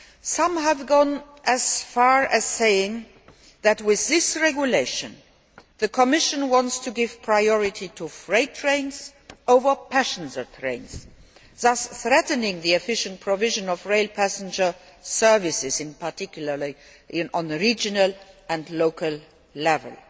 Some have gone as far as saying that, with this regulation, the Commission wants to give priority to freight trains over passenger trains, thus threatening the efficient provision of rail passenger services, in particular at regional and local level.